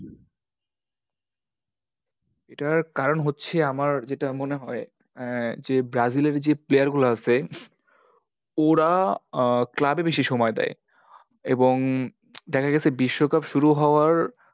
এটার কারণ হচ্ছে আমার যেটা মনে হয়, আ যে ব্রাজিল এর যে player গুলো আছে, ওরা আ club এ বেশি সময় দেয়। এবং দেখা গেছে বিশ্বকাপ শুরু হওয়ার